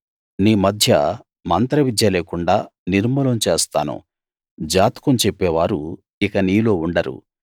మీ మధ్య మంత్రవిద్య లేకుండా నిర్మూలం చేస్తాను జాతకం చెప్పేవారు ఇక నీలో ఉండరు